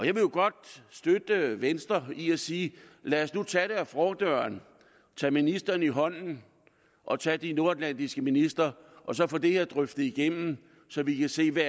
jo godt støtte venstre i at sige lad os nu tage det ad fordøren tage ministeren i hånden og tage de nordatlantiske ministre i og så få det her drøftet igennem så vi kan se hvad